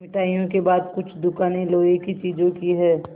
मिठाइयों के बाद कुछ दुकानें लोहे की चीज़ों की हैं